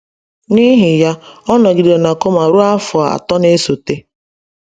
N’ihi ya, ọ nọgidere na coma ruo afọ atọ na-esote.